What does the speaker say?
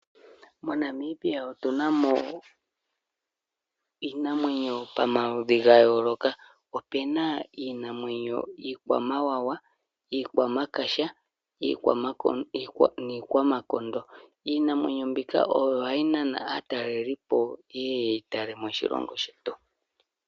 Mo Namibia otuna mo iinamwenyo pomaludhi ga yooloka. Omuna iinamwenyo iikwamawawa, iikwamakaha niikwamakondo. Iinamwenyo mbika ohayi nana aatalelipo yeye ye yi tale moshilongo shetu.